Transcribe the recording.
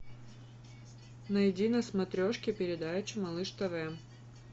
найди на смотрешке передачу малыш тв